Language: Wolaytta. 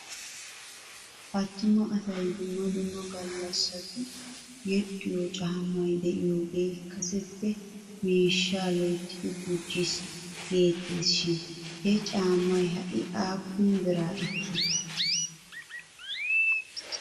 Attuma asay dumma dumma gallassatu yedhdhiyoo caammay de'iyaagee kaseppe miishshaa loyttidi gujjis geetes shin he caamay ha'i aappun biraa ekii?